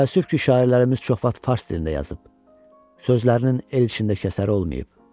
Təəssüf ki, şairlərimiz çox vaxt fars dilində yazıb, sözlərinin el içində kəsəri olmayıb.